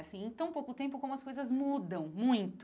Assim, em tão pouco tempo como as coisas mudam, muito.